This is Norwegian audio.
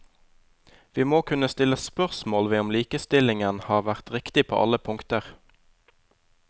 Vi må kunne stille spørsmål ved om likestillingen har vært riktig på alle punkter.